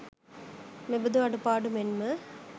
මෙබඳු අඩුපාඩු මෙන්ම